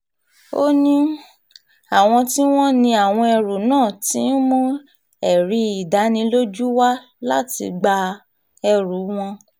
ó ní um àwọn tí wọ́n ní àwọn ẹrú náà ti ń mú ẹ̀rí ìdánilójú wá láti gba um ẹrù wọn